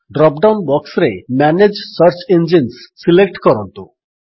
drop down ବକ୍ସରେ manage search engines select କରନ୍ତୁ